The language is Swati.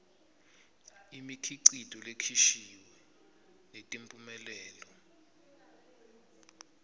imikhicito lekhishiwe netimphumelelo